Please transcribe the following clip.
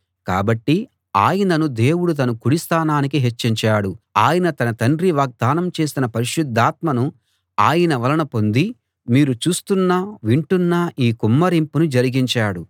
కాబట్టి ఆయనను దేవుడు తన కుడి స్థానానికి హెచ్చించాడు ఆయన తన తండ్రి వాగ్దానం చేసిన పరిశుద్ధాత్మను ఆయన వలన పొంది మీరు చూస్తున్న వింటున్న ఈ కుమ్మరింపును జరిగించాడు